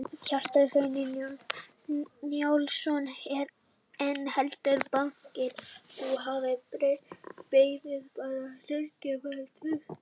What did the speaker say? Kjartan Hreinn Njálsson: En heldurðu að bankinn og þú hafi beðið bara hnekki varðandi traust?